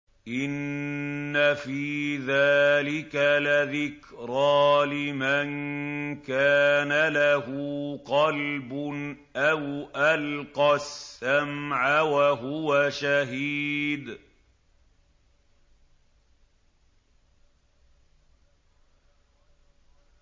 إِنَّ فِي ذَٰلِكَ لَذِكْرَىٰ لِمَن كَانَ لَهُ قَلْبٌ أَوْ أَلْقَى السَّمْعَ وَهُوَ شَهِيدٌ